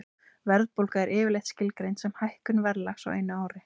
Verðbólga er yfirleitt skilgreind sem hækkun verðlags á einu ári.